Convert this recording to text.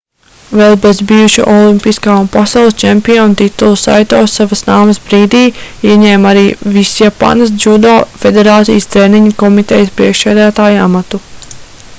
vēl bez bijuša olimpiskā un pasaules čempiona titula saito savas nāves brīdī ieņēma arī visjapānas džudo federācijas treniņu komitejas priekšsēdētāja amatu